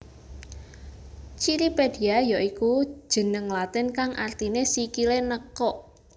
Cirripedia ya iku jeneng latin kang artiné sikilé nekuk